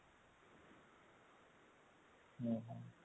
ହୁଁ ହୁଁ